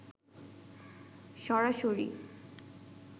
সরাসরি